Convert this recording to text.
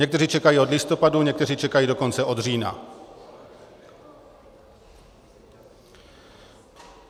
Někteří čekají od listopadu, někteří čekají dokonce od října.